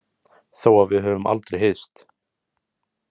Þó að við höfum aldrei hist.